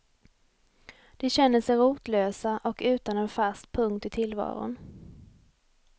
De känner sig rotlösa och utan en fast punkt i tillvaron.